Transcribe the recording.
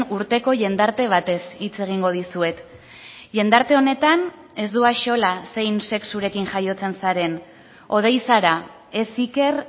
urteko jendarte batez hitz egingo dizuet jendarte honetan ez du axola zein sexurekin jaiotzen zaren hodei zara ez iker